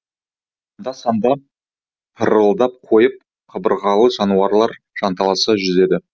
анда санда пырылдап қойып қабырғалы жануарлар жанталаса жүзеді